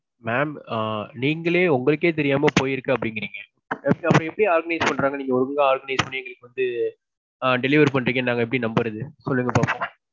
mam. ஆ நீங்களே உங்களுக்கே தெரியாம போயிருக்கு அப்பிடீங்கிருங்க. அப்போ அப்பிடி organize பன்றாங்க நீங்க ஒழுங்கா organize பண்ணி நீங்க வந்து delivery பண்ணறீங்கனு நாங்க எப்பிடி நம்புறது. சொல்லுங்க பாப்போம்.